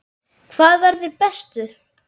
Hver verður bestur?